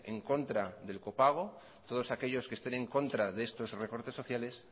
en contra del copago todos aquellos que estén en contra de estos recortes sociales